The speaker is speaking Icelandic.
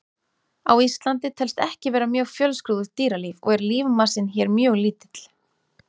Á Íslandi telst ekki vera mjög fjölskrúðugt dýralíf og er lífmassinn hér mjög lítill.